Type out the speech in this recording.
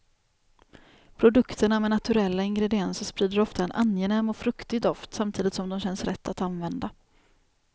Produkterna med naturella ingredienser sprider ofta en angenäm och fruktig doft samtidigt som de känns rätt att använda.